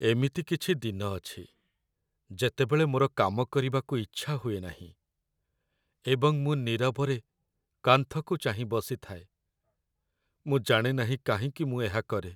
ଏମିତି କିଛି ଦିନ ଅଛି ଯେତେବେଳେ ମୋର କାମ କରିବାକୁ ଇଚ୍ଛା ହୁଏ ନାହିଁ, ଏବଂ ମୁଁ ନୀରବରେ କାନ୍ଥକୁ ଚାହିଁ ବସିଥାଏ, ମୁଁ ଜାଣେ ନାହିଁ କାହିଁକି ମୁଁ ଏହା କରେ